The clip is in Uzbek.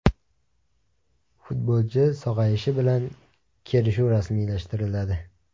Futbolchi sog‘ayishi bilan kelishuv rasmiylashtiriladi.